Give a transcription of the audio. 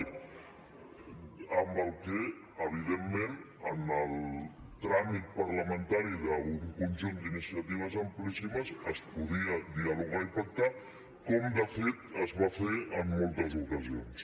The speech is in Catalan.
amb la qual cosa evidentment en el tràmit parlamentari d’un conjunt d’iniciatives amplíssimes es podia dialogar i pactar com de fet es va fer en moltes ocasions